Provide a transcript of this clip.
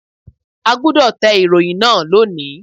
A gbúdọ̀ tẹ ìròyìn náà lónìí.